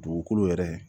Dugukolo yɛrɛ